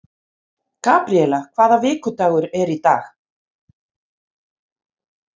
Gabríela, hvaða vikudagur er í dag?